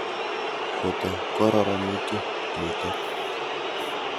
Kota kororonitu nitok.